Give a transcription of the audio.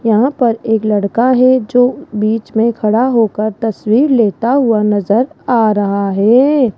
यहां पर एक लड़का है जो बीच में खड़ा होकर तस्वीर लेता हुआ नजर आ रहा है।